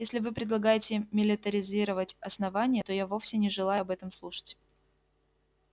если вы предлагаете милитаризировать основание то я вовсе не желаю об этом слушать